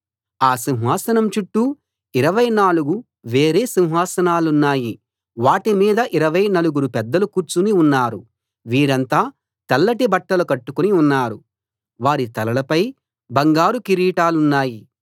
ఆ సింహాసనం చుట్టూ ఇరవై నాలుగు వేరే సింహాసనాలున్నాయి వాటి మీద ఇరవై నలుగురు పెద్దలు కూర్చుని ఉన్నారు వీరంతా తెల్లటి బట్టలు కట్టుకుని ఉన్నారు వారి తలలపై బంగారు కిరీటాలున్నాయి